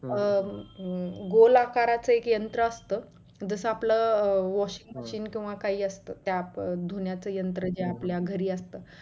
हम्म गोल आकाराचे यंत्र असत जस आपलं अं washing machine किंवा काही असतं त्या धुण्याचा यंत्र जे आपल्या घरी असत